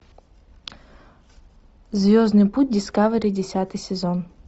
звездный путь дискавери десятый сезон